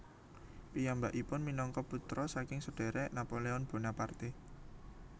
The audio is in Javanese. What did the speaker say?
Piyambakipun minangka putra saking sedherek Napoleon Bonaparte